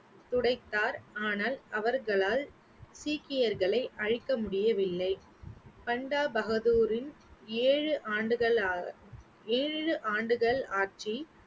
துடைத்தார் ஆனால் அவர்களால் சீக்கியர்களை அழிக்க முடியவில்லை பண்டா பகதூரின் ஏழு ஆண்டுகள் ஆ~ ஏழு ஆண்டுகள் ஆட்சி